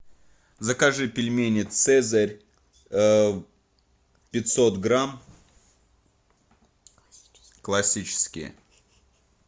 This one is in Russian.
закажи пельмени цезарь пятьсот грамм классические